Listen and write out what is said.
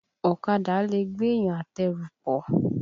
Ọ̀kadà lẹ̀ gbéyàn àtẹrù pọ̀.